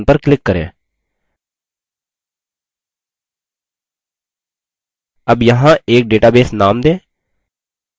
अब यहाँ एक database name दें librarymembers type करें